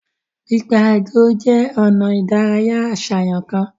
Pipaagọ je ona ìdárayá aṣayan kan.